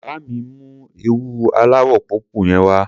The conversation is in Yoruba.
Bá mi mú ẹ̀wù aláwọ̀ pọ́pù yẹn wá.